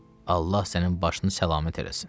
Allah sənin başını salamat eləsin.